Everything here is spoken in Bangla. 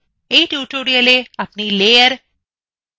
in tutorialএ আপনি layers সম্পর্কে শিখবেন